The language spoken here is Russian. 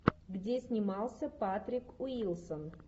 где снимался патрик уилсон